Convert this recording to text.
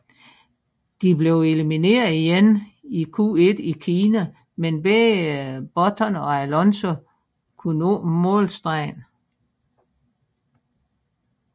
De blev elimineret igen i Q1 i Kina men begge Button og Alonso kunne nå målstregen